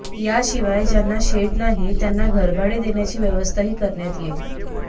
याशिवाय ज्यांना शेड नाही त्यांना घरभाडे देण्याची व्यवस्थाही करण्यात येईल